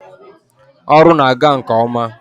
ọrụ na-aga nke ọma.